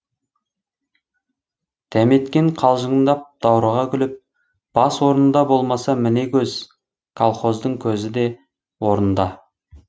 дәметкен қалжыңдап даурыға күліп бас орнында болмаса міне көз колхоздың көзі де орнында